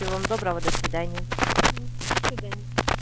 всего вам доброго до свидания до свидания